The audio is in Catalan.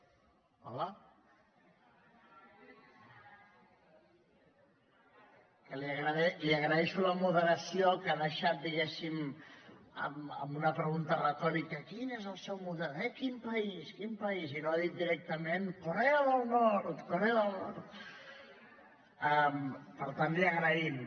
hola deració que ha deixat diguéssim amb una pregunta retòrica quin és el seu model eh quin país quin país i no ha dit directament corea del nord corea del nord per tant li ho agraïm